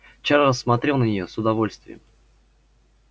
чарлз смотрел на неё с удовольствием